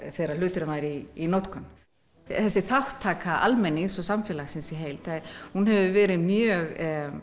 þegar hluturinn væri í notkun þessi þátttaka almennings og samfélagsins í heild hefur verið mjög